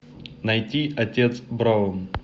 найти отец браун